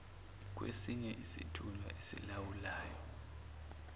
kwesinye isithunywa esilawulwayo